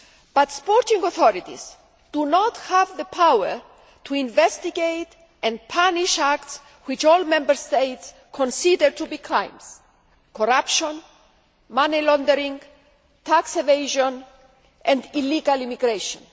But sporting authorities do not have the power to investigate and punish acts which all Member States consider to be crimes corruption, money laundering, tax evasion and illegal immigration.